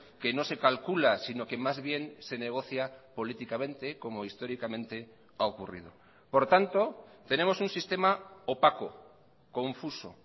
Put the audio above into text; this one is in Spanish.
que no se calcula sino que más bien se negocia políticamente como históricamente ha ocurrido por tanto tenemos un sistema opaco confuso